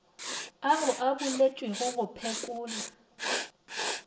ao a boletšwego go phekola